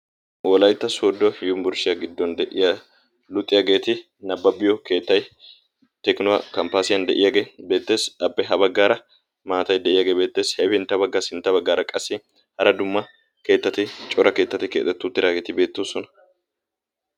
Wolaytta soodo yunburshshiyaa giddon de'iya luuxiyaageeti nabbabbiyo keettay tekinuwaa kamppaasiyan de'iyaagee beetteesi abbe ha baggaara maatai de'iyaagee beetteesi heepiintta baggaa sintta baggaara qassi hara dumma keettati cora keettati keexettu tiraageeti beettoosona.